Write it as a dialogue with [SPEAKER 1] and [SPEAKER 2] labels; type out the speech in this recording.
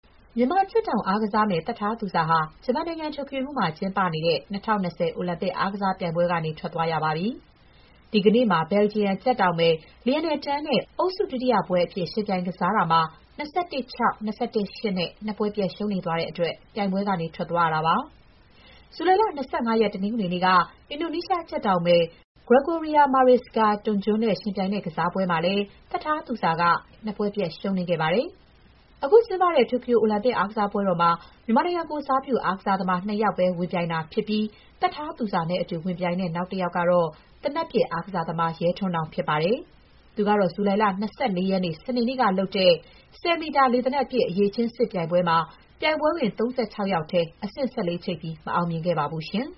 [SPEAKER 1] မြန်မာကြက်တောင်အားကစားမယ် သက်ထားသူဇာဟာ ဂျပန်နိုင်ငံ၊ တိုကျိုမြို့တော်မှာကျင်းပနေတဲ့ ၂၀၂၀ အိုလံပစ်အားကစားပြိုင်ပွဲကနေ ထွက်သွားရပါပြီ။ ဒီကနေ့မှာ ဘယ်လ်ဂျီယံကြက်တောင်မယ် Lianne Tan နဲ့ အုပ်စုဒုတိယပွဲအဖြစ် ယှဉ်ပြိုင်ကစားတာမှာ ၂၁-၆၊ ၂၁-၈ နဲ့ နှစ်ပွဲပြတ်ရှုံးနိမ့်သွားတဲ့အတွက် ပြိုင်ပွဲကနေ ထွက်သွားရတာပါ။ ဇူလိုင်လ ၂၅ ရက်၊ တနင်္ဂနွေနေ့က အင်ဒိုနီးရှားကြက်တောင်မယ် Gregoria Mariska Tunjung နဲ့ ယှဉ်ပြိုင်ကစားတဲ့ပွဲမှာလည်း သက်ထားသူဇာက ၂၁-၁၁၊ ၂၁-၈ နဲ့ နှစ်ပွဲပြတ် ရှုံးနိမ့်ခဲ့တာပါ။ အခုကျင်းပနေတဲ့ တိုကျို အိုလံပစ်အားကစားပွဲတော်မှာ မြန်မာနိုင်ငံကိုယ်စားပြု အားကစားသမား နှစ်ယောက်ပဲ ဝင်ပြိုင်တာဖြစ်ပြီး သက်ထားသူဇာနဲ့အတူ ဝင်ပြိုင်တဲ့ နောက်တယောက်ကတော့ သေနတ်ပစ်အားကစားသမား ရဲထွန်းနောင်ဖြစ်ပါတယ်။ သူကတော့ ဇူလိုင်လ ၂၄ ရက် စနေနေ့ကလုပ်တဲ့ ၁၀ မီတာ လေသေနတ်ပစ် အရည်အချင်းစစ်ပြိုင်ပွဲမှာ ပြိုင်ပွဲဝင် ၃၆ ယောက်ထဲ အဆင့် ၁၄ ချိတ်ပြီး မအောင်မြင်ခဲ့ပါဘူး။